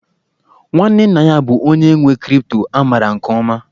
Nwanne nna ya bụ onye nwe crypto a maara nke ọma